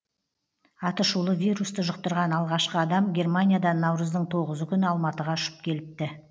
атышулы вирусты жұқтырған алғашқы адам германиядан наурыздың тоғызы күні алматыға ұшып келіпті